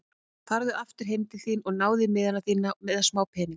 Farðu aftur heim til þín og náðu í miðana þína eða smápeninga.